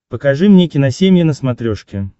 покажи мне киносемья на смотрешке